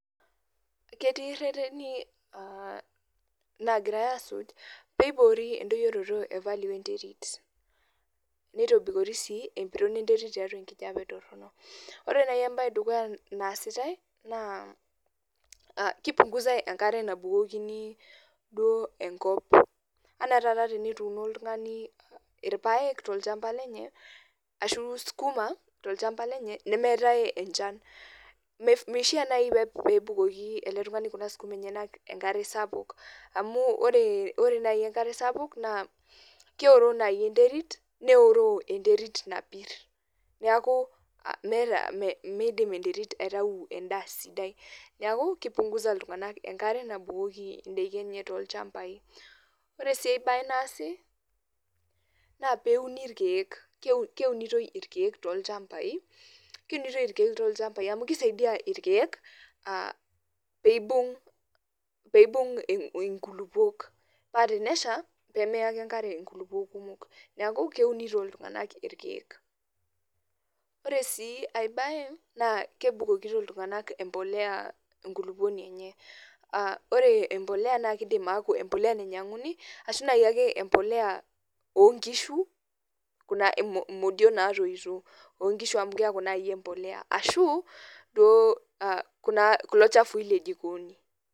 Ketii rreteni lagirai asuj, peiboori edoyioroto e value enterit. Neitobikori si empiron enterit tiatua enkijape torrono. Ore nai ebae edukuya naasitai, naa kipunguzai enkare nabukokini duo enkop. Anaa taata tenituuno oltung'ani irpaek tolchamba lenye, ashu sukuma tolchamba lenye, nemeetae enchan. Meishaa nai pebukoki ele tung'ani kuna sukuma enyanak enkare sapuk. Amu ore nai enkare sapuk naa, keoroo nai enterit, neoroo enterit napir. Neeku meta midim enterit aitau endaa sidai. Neeku kipunguza iltung'anak enkare nabukoki idaiki enye tolchambai. Ore si ai bae naasi, na peuni irkeek. Keunitoi irkeek tolchambai, keunitoi irkeek tolchambai amu kisaidia irkeek, pibung' inkulukuok. Pa tenesha, pemeya ake enkare inkulukuok kumok. Neeku keunito iltung'anak irkeek. Ore si ai bae, naa kebukokito iltung'anak empolea enkulukuoni enye. Ore empolea nakidim aku empolea nainyang'uni, ashu nai ake empolea onkishu, kuna modio natoito onkishu amu keeku nai empolea. Ashu, duo kulo chafui le jikoni.